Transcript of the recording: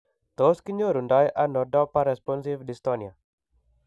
Tos kinyoru ndo dopa responsive dystonia ?